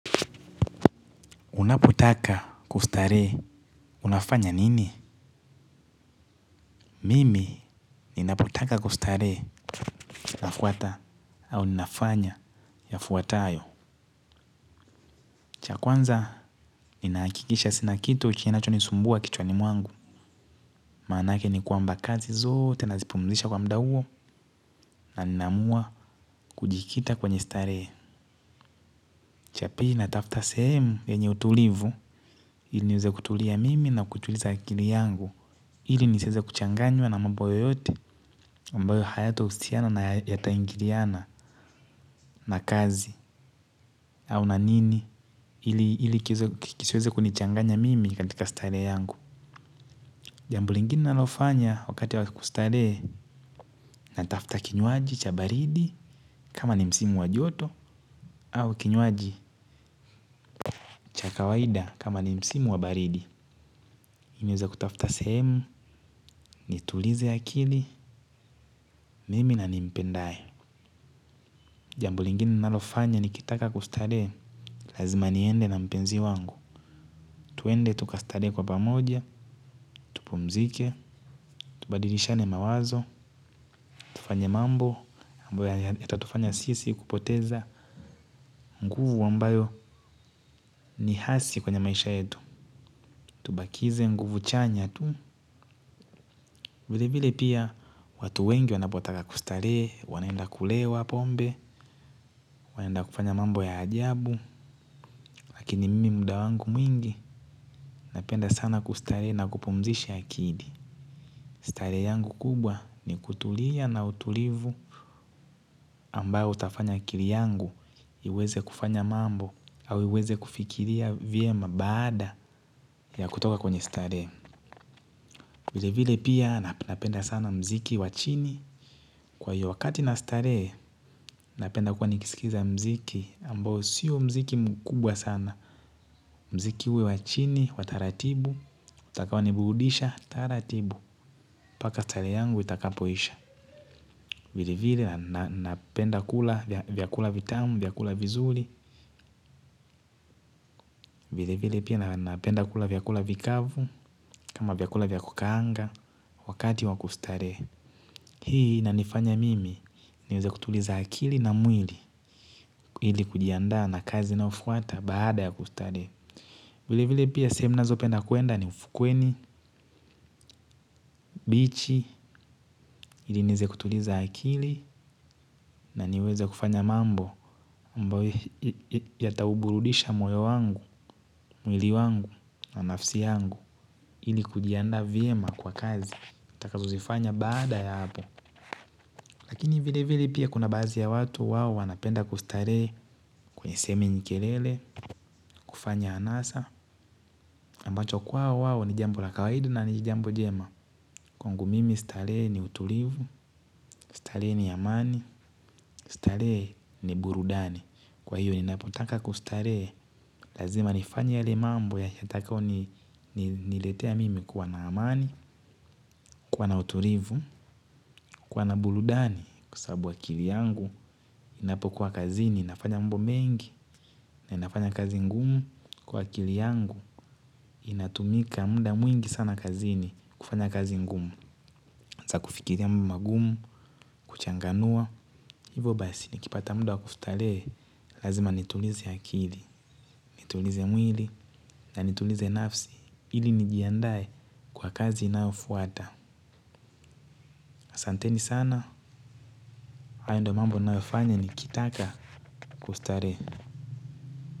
Unapotaka kustarehe unafanya nini? Mimi ninapotaka kustarehe nafuata au ninafanya yafuatayo. Cha kwanza ninahakikisha sina kitu kinachonisumbua kichwani mwangu. Maanake ni kwamba kazi zote nazipumzisha kwa muda huo na ninaamua kujikita kwenye starehe. Cha pili natafuta sehemu yenye utulivu ili niweze kutulia mimi na kutuliza akili yangu ili nisiweze kuchanganywa na mambo yoyote ambayo hayatahusiana na yataingiliana na kazi au na nini ili kisiweze kunichanganya mimi katika starehe yangu. Jambo lingine ninalofanya wakati ya kustarehe natafuta kinywaji cha baridi kama ni msimu wa joto au kinywaji cha kawaida kama ni msimu wa baridi. Niweze kutafuta sehemu nitulize akili mimi na nimpendaye. Jambo lingine ninalofanya nikitaka kustarehe lazima niende na mpenzi wangu. Tuende tukastarehe kwa pamoja, tupumzike, tubadilishane mawazo, tufanye mambo ambayo yatatufanya sisi kupoteza nguvu ambayo ni hasi kwenye maisha yetu. Tubakize nguvu chanya tu. Vile vile pia watu wengi wanapotaka kustarehe wanaenda kulewa pombe. Wanaenda kufanya mambo ya ajabu. Lakini mimi muda wangu mwingi napenda sana kustarehe na kupumzisha akili, starehe yangu kubwa ni kutulia na utulivu ambao utafanya akili yangu iweze kufanya mambo au iweze kufikiria vyema baada ya kutoka kwenye starehe. Vile vile pia napenda sana muziki wa chini kwa hiyo wakati nastarehe napenda kuwa nikisikiza muziki ambao siyo muziki mkubwa sana. Muziki uwe wa chini wa taratibu utakaoniburudisha taratibu mpaka starehe yangu itakapoisha, vile vile napenda kula vyakula vitamu vyakula vizuri vile vile pia napenda kula vyakula vikavu, kama vyakula vya kukaanga. Wakati wa kustarehe, hii inanifanya mimi niweze kutuliza akili na mwili ili kujiandaa na kazi inayofuata baada ya kustarehe. Vile vile pia sehemu ninazopenda kuenda ni ufukweni Bichi ili niweze kutuliza akili na niweze kufanya mambo ambayo yatauburudisha moyo wangu. Mwili wangu na nafsi yangu ili kujiandaa vyema kwa kazi nitakazozifanya baada ya hapo. Lakini vile vile pia kuna baadhi ya watu wao wanapenda kustarehe kwenye sehemu yenye kelele kufanya anasa ambacho kwao wao ni jambo la kawaida na ni jambo jema. Kwangu mimi starehe ni utulivu, starehe ni amani, starehe ni burudani. Kwa hiyo ninapotaka kustarehe lazima nifanye yale mambo yatakayo ni niletea mimi kuwa na amani, kuwa na utulivu, kuwa na burudani kwa sababu akili yangu ninapokuwa kazini ninafanya mambo mengi na ninafanya kazi ngumu kwa akili yangu inatumika muda mwingi sana kazini, kufanya kazi ngumu hasaa kufikiria mambo magumu, kuchanganua, hivo basi nikipata muda wa kustarehe, lazima nitulize akili, nitulize mwili, na nitulize nafsi, ili nijiandae kwa kazi inayofuata. Asanteni sana, hayo ndio mambo ninayofanya nikitaka kustarehe.